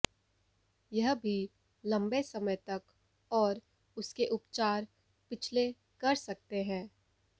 यह भी लंबे समय तक और उसके उपचार पिछले कर सकते हैं